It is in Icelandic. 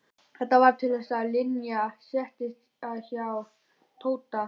Svo rann aftur á mig mók og ég sofnaði.